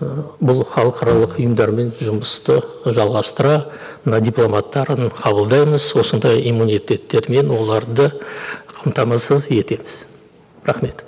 ыыы бұл халықаралық ұйымдармен жұмысты жалғастыра мына дипломаттарын қабылдаймыз осындай иммунитеттермен оларды қамтамасыз етеміз рахмет